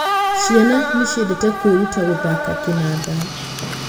Ciana nĩ ciendete kwĩruta gũthaka kĩnanda.